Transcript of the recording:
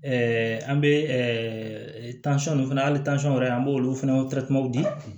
an bɛ fana hali wɛrɛ an b'olu fana di